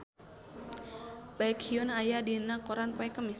Baekhyun aya dina koran poe Kemis